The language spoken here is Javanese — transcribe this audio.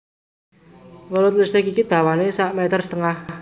Welut listrik iki dawané sak meter setengah